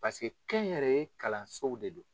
Paseke kɛ n yɛrɛ ye kalansow de don.